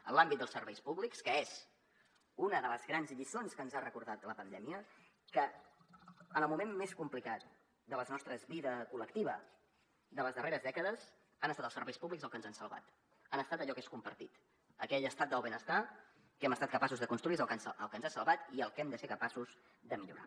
en l’àmbit dels serveis públics que és una de les grans lliçons que ens ha recordat la pandèmia que en el moment més complicat de la nostra vida col·lectiva de les darreres dècades han estat els serveis públics el que ens han salvat han estat allò que és compartit aquell estat del benestar que hem estat capaços de construir és el que ens ha salvat i el que hem de ser capaços de millorar